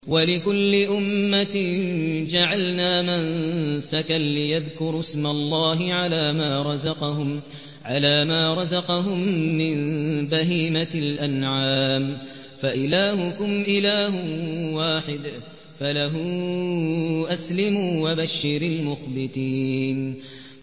وَلِكُلِّ أُمَّةٍ جَعَلْنَا مَنسَكًا لِّيَذْكُرُوا اسْمَ اللَّهِ عَلَىٰ مَا رَزَقَهُم مِّن بَهِيمَةِ الْأَنْعَامِ ۗ فَإِلَٰهُكُمْ إِلَٰهٌ وَاحِدٌ فَلَهُ أَسْلِمُوا ۗ وَبَشِّرِ الْمُخْبِتِينَ